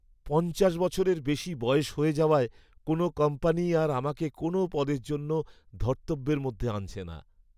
পঞ্চাশ বছরের বেশি বয়স হয়ে যাওয়ায় কোনও কোম্পানিই আর আমাকে কোনও পদের জন্য ধর্তব্যের মধ্যে আনছে না।